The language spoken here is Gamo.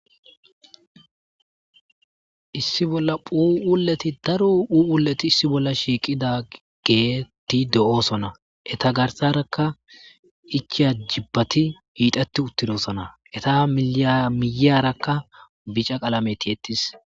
Issi Bolla Phuuphule daro Phuuphulle deosona jibata hixeti utides miyara bicha qalame tiyeti udes